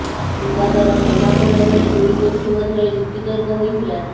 ବିବାଦର ସମାଧାନ ବେଳେ ଦୁଇ ଗୋଷ୍ଠୀ ମଧ୍ୟରେ ଯୁକ୍ତି ତର୍କ ହୋଇଥିଲା